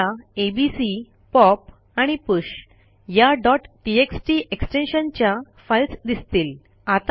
आपल्याला ABC pop and push या txt extension च्या फाईल्स दिसतील